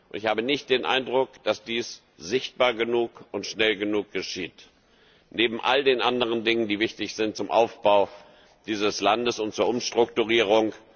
Ich habe nicht den Eindruck, dass dies sichtbar genug und schnell genug geschieht, neben all den anderen Dingen, die wichtig sind zum Aufbau dieses Landes und zur Umstrukturierung.